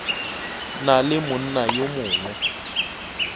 na le monna yo mongwe